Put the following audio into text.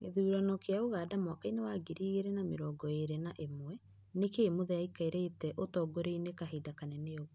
Gĩthurano kĩa Ũganda mwakainĩ wa ngiri igĩrĩ na mĩrongo ĩrĩ na ĩmwe: nĩkĩĩ Muthee aikarĩte ũtogoriainĩ kahinda kanene ũgũo?